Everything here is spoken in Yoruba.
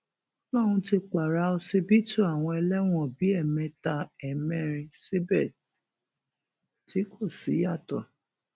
ó lóun ti pààrà ọsibítù àwọn ẹlẹwọn bíi ẹẹmẹta ẹẹmẹrin síbẹ tí kò síyàtọ